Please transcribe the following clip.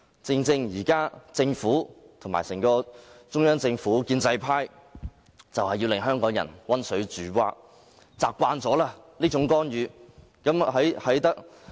政府、整個中央政府及建制派正是用溫水煮蛙的方法，令香港人習慣這種干預。